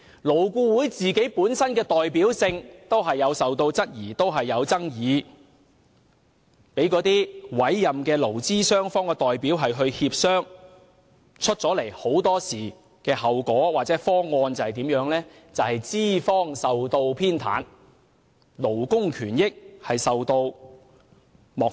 勞顧會本身的代表性也備受質疑和爭議，讓委任的勞資雙方代表協商，得出的後果或方案往往是資方受到偏袒，勞工權益受到漠視。